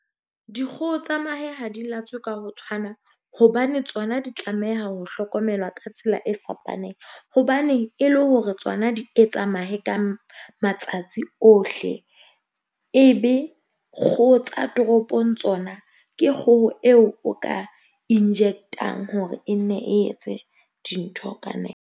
Dikgoho tsa mahe ho di latswe ka ho tshwana hobane tsona di tlameha ho hlokomelwa ka tsela e fapaneng. Hobane e le hore tsona di etsa mahe ka matsatsi ohle e be kgoho tsa toropong tsona ke kgoho eo o ka inject-ang hore e nne e etse dintho ka .